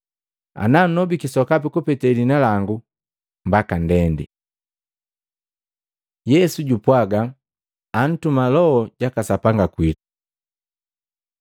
Ana nnobiki sokapi kupete liina langu, mbaka ndendi. Yesu jupwaga antuma Loho jaka Sapanga kwitu